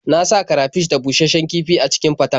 Na sa karafish da bushasshen kifi a cikin faten.